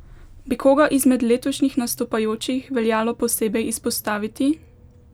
Bi koga izmed letošnjih nastopajočih veljalo posebej izpostaviti?